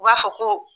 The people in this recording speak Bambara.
U b'a fɔ ko